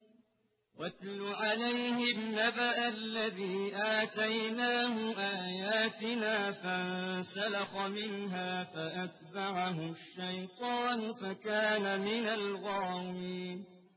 وَاتْلُ عَلَيْهِمْ نَبَأَ الَّذِي آتَيْنَاهُ آيَاتِنَا فَانسَلَخَ مِنْهَا فَأَتْبَعَهُ الشَّيْطَانُ فَكَانَ مِنَ الْغَاوِينَ